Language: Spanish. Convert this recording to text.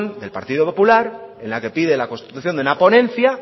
del partido popular en la que pide la constitución de una ponencia